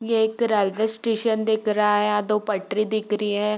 ये एक railway station दिख रा है यहाँ दो पटरी दिख री है।